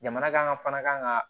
Jamana kan ka fana kan ka